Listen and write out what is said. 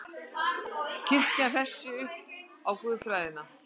Kirkjan hressi upp á guðfræðina